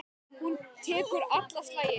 Hún tekur alla slagi.